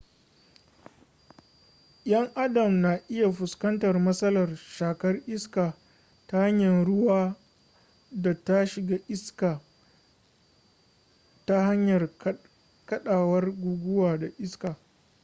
yan adam na iya fuskantar masalar shakar iskar ta hanyar ruwa da ta shiga iska ta hanyar kadawar guguwa da iskar